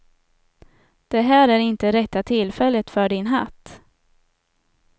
Det här är inte rätta tillfället för din hatt.